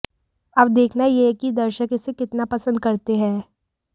अब देखना यह है कि दर्शक इसे कितना पसंद करते हैं